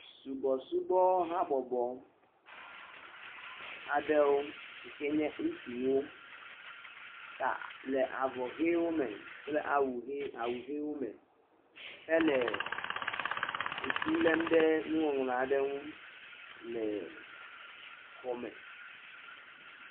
Subɔsubɔ ha bɔbɔ aɖewo sike nye ŋutsuwo, ta le avɔ ʋi wome kple awu ʋiwo me hele ŋlu lem ɖe nuŋɔŋlɔ aɖe ŋu le xɔ me.